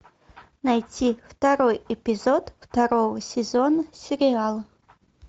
найти второй эпизод второго сезон сериала